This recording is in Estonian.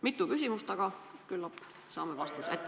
Mitu küsimust, aga küllap saame vastuse.